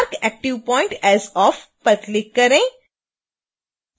mark active point as off पर click करें